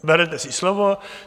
- Berete si slovo.